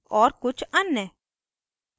और कुछ अन्य